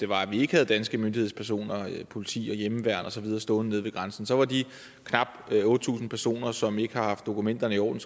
var at vi havde danske myndighedspersoner politi og hjemmeværn og så videre stående der så var de knap otte tusind personer som ikke har haft dokumenterne i orden